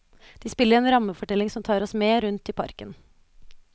De spiller en rammefortelling som tar oss med rundt i parken.